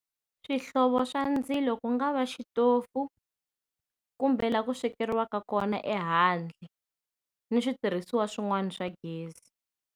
Swihlovo swa ndzilo ku nga va xitofu kumbe laha ku swekeriwaka kona ehandle ni switirhiswa swin'wana swa gezi.